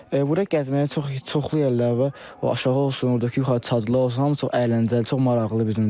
Burda gəzməyə çoxlu yerlər var, o aşağı olsun, oradakı yuxarı çadırlar olsun, hamısı çox əyləncəli, çox maraqlıdır bizim üçün.